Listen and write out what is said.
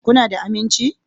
Kuna da aminci?